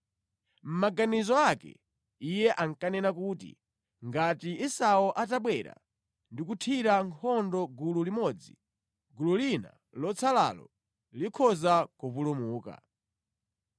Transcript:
Mʼmaganizo ake iye ankanena kuti, “Ngati Esau atabwera ndi kuthira nkhondo gulu limodzi, gulu lina lotsalalo likhoza kupulumuka.”